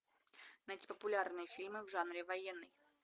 найти популярные фильмы в жанре военный